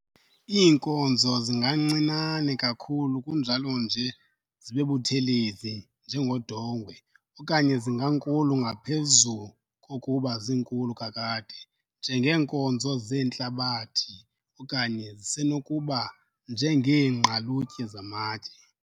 Iinkozo zingancinane kakhulu kunjalo nje zibebuthelezi, njengodongwe, okanye zingankulu ngaphezu kokuba zinkulu kakade, njengeenkozo zentlabathi okanye zisenokuba njengeengqalutye zamatye,